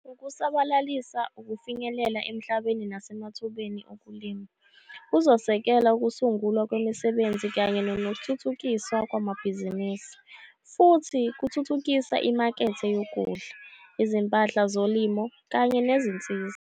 Ukusabalalisa ukufinyelela emhlabeni nasemathubeni okulima kuzosekela ukusungulwa kwemisebenzi kanye nokuthuthukiswa kwamabhizinisi, futhi kuthuthukisa imakethe yokudla, izimpahla zolimo kanye nezinsiza.